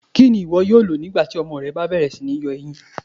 Kíni iwó̩ yóò lọ̀ nígbàtí ọmọ rẹ̀ bá bẹ̀rẹ̀ sí ní yọ èyíń?